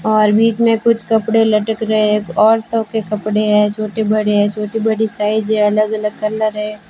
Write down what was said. और बीच में कुछ कपड़े लटक रहे एक औरतों के कपड़े हैं छोटे बड़े हैं छोटी बड़ी साइज है अलग अलग कलर है।